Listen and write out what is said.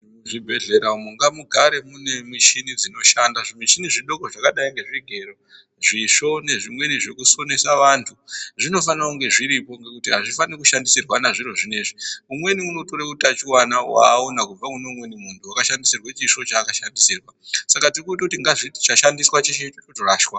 Muzvibhehlera umwo ngamugare mune mishini dzinoshanda ,zvimishini zvidoko zvakadai ngezvigero ,zvisvo nezvimweni zvekusonesa vantu, zvinofanire kunge zviripo ngekuti azvifaniri kushandisirwana zviro zvinoizvi umweni unotore utachiwana waona kubve kune umweni munhu wakashandisirwe chisvo chaakashandisirwa saka tirikutoti chashandiswa cheshe chotorashwa.